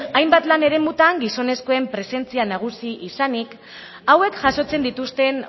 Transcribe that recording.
hainbat lan eremutan gizonezkoen presentzia nagusi izanik hauek jasotzen dituzten